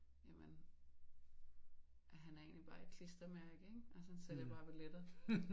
Jamen han er egentlig bare et klistermærke ikke altså han sælger bare billetter